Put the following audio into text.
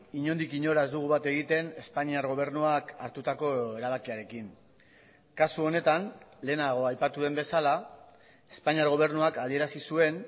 inondik inora ez dugu bat egiten espainiar gobernuak hartutako erabakiarekin kasu honetan lehenago aipatu den bezala espainiar gobernuak adierazi zuen